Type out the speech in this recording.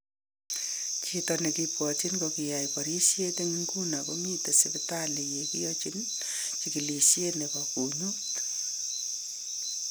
Chito nekibwatchin kokiyai barisyeet en inguni komiten sibitaliit ye kyachin chikilisyeet nebo kunyuut .